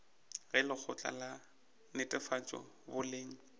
ge lekgotla la netefatšo boleng